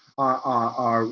að